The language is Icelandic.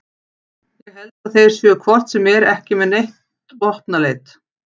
Ég held að þeir séu hvort sem er ekki með neitt vopnaleit